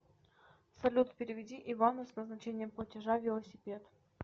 салют переведи ивану с назначением платежа велосипед